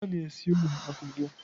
Ha na-ese ụlọ akwụkwọ.